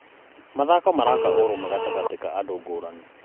Mathako maraka ũrũmwe gatagatĩ ka andũ ngũrani.